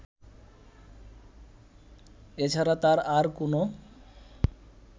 এ ছাড়া তার আর কোন